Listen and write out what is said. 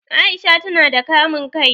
Aisha ta na da kamun kai